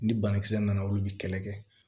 Ni banakisɛ nana olu bɛ kɛlɛ kɛ